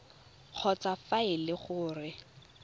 kgotsa fa e le gore